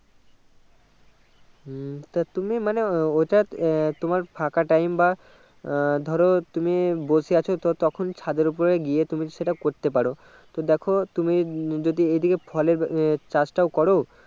হম তা তুমি মানে ওটা আহ তোমার ফাঁকা time বা আহ ধরো তুমি বসে আছো তো তখন ছাদের ওপর গিয়ে তুমি সেটা করতে পারো তো দেখো তুমি যদি এদিকে ফলের চাষ টাও করো